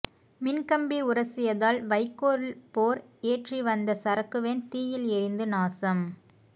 மின்கம்பி உரசியதால் வைக்கோல் போர் ஏற்றி வந்த சரக்குவேன் தீயில் எரிந்து நாசம்